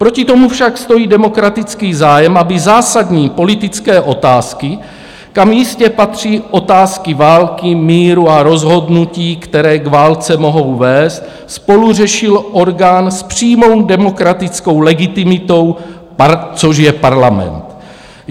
Proti tomu však stojí demokratický zájem, aby zásadní politické otázky, kam jistě patří otázky války, míru a rozhodnutí, které k válce mohou vést, spoluřešil orgán s přímou demokratickou legitimitou, což je parlament.